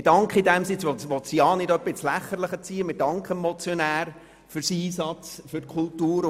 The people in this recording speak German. Wir danken in diesem Sinn dem Motionär für seinen Einsatz für die Kultur, und wir wollen sein Anliegen auch nicht ins Lächerliche ziehen.